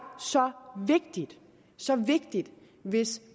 så vigtigt så vigtigt hvis